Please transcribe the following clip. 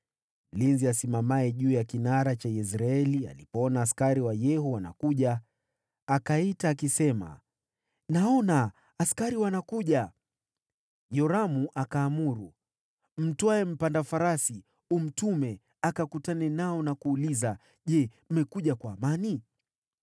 Mlinzi aliyesimama juu ya kinara cha Yezreeli alipoona askari wa Yehu wanakuja, akaita akisema, “Naona askari wanakuja.” Yoramu akaamuru, “Mtwae mpanda farasi umtume akakutane nao na kuuliza, ‘Je, mmekuja kwa amani?’ ”